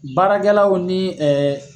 Baarakɛlaw ni ɛɛ